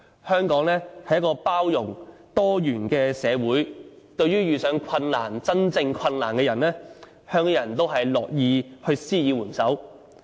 香港是一個多元包容的社會，對於遇上困難——真正困難——的人，香港人都樂意施以援手。